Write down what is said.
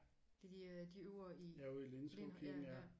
De der de øver i lind ja ja